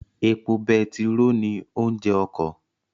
Epo betiró ni oúnjẹ ọkọ